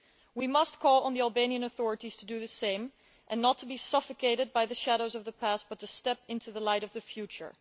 We must call on the Albanian authorities to do the same and not be suffocated by the shadows of the past, but to step into the light of the future.